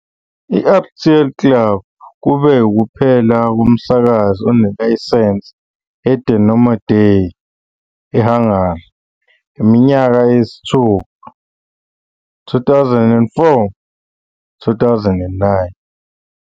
I-RTL Klub kube ukuphela komsakazi onelayisense leDomino Day eHungary, iminyaka eyisithupha, 2004-2009.